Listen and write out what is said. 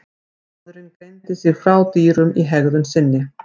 Maðurinn greindi sig frá dýrum í hegðun sinni.